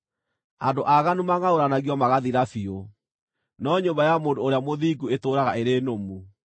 Andũ aaganu mangʼaũranagio magathira biũ, no nyũmba ya mũndũ ũrĩa mũthingu ĩtũũraga ĩrĩ nũmu.